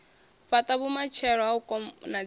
fhata vhumatshelo ha u konadzea